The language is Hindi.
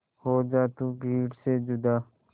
हो जा तू भीड़ से जुदा